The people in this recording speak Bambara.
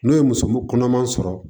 N'o ye muso kɔnɔman sɔrɔ